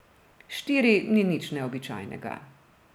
Štiri ni nič neobičajnega.